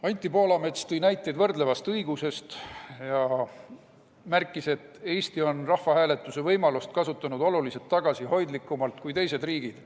Anti Poolamets tõi näiteid võrdlevast õigusest ja märkis, et Eesti on rahvahääletuse võimalust kasutanud oluliselt tagasihoidlikumalt kui teised riigid.